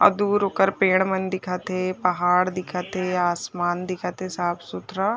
अउ दूर ओकर पेड़ मन दिखत हे पहाड़ दिखत हे आसमान दिखत हे साफ़-सुथरा--